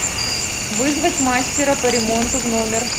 вызвать мастера по ремонту в номер